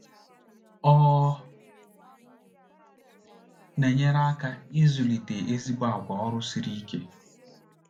Ọ na-enyere ha aka ịzụlite ezigbo àgwà ọrụ siri ike.